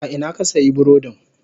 A ina ka sayi burodin?